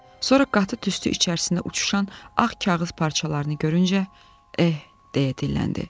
Sonra qatı tüstü içərisində uçuşan ağ kağız parçalarını görüncə, "Eh", deyə dilləndi.